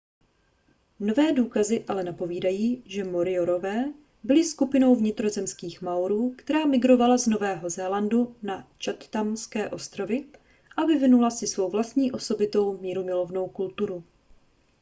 nové důkazy ale napovídají že moriorové byli skupinou vnitrozemských maorů která migrovala z nového zélandu na chathamské ostrovy a vyvinula si svou vlastní osobitou mírumilovnou kulturu